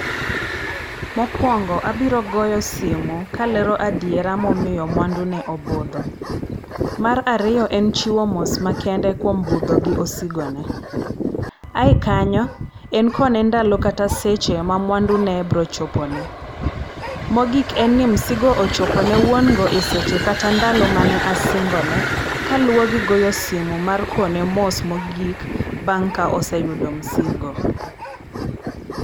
Mokwongo abiro goyo simo kalero adiera momiyo mwandu ne obudho. Mar ariyo en chiwo mos makende kuom budho gi osigone. Aye kanyo, en kone ndalo kata seche ma mwandune brochopone. Mogik en ni msigo ochopone wuon go e seche kata ndalo mane asingone kaluwo gi goyo simo mar kone mos mogik bang' ka oseyudo msigo.